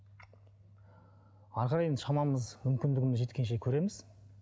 әрі қарай енді шамамыз мүмкіндігіміз жеткенше көреміз